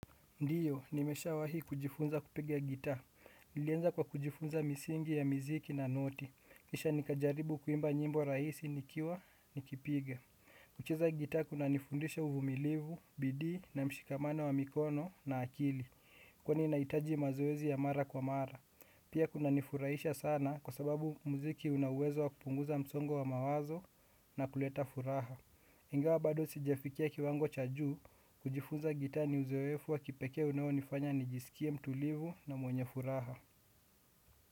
Ndiyo, nimeshawahi kujifunza kupiga gitaa. Nilianza kwa kujifunza misingi ya miziki na noti. Kisha nikajaribu kuimba nyimbo rahisi nikiwa nikipiga. Kucheza gitaa kunanifundisha uvumilivu, bidii na mshikamano wa mikono na akili. Kwani nahitaji mazoezi ya mara kwa mara. Pia kunanifurahisha sana kwa sababu muziki una uwezo wa kupunguza msongo wa mawazo na kuleta furaha. Ingawa bado sijafikia kiwango cha juu kujifunza gitaa ni uzoefu wa kipekee unaonifanya nijisikie mtulivu na mwenye furaha.